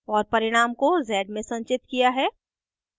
और परिणाम को z में संचित किया है